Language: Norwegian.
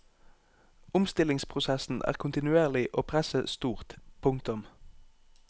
Omstillingsprosessen er kontinuerlig og presset stort. punktum